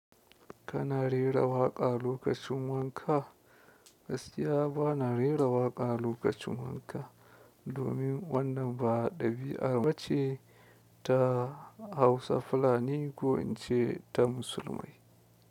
Kana rera waƙa lokacin wanka? Gaskiya ba na rera waƙa lokacin wanka, domin wannan ba ɗabi'a bace ta Hausa fulani ko in ce ta musulmai.